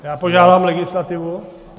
Já požádám legislativu.